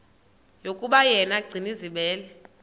yokuba yena gcinizibele